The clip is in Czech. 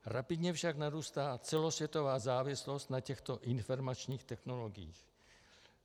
Rapidně však narůstá celosvětová závislost na těchto informačních technologiích.